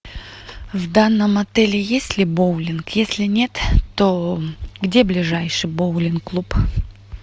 в данном отеле есть ли боулинг если нет то где ближайший боулинг клуб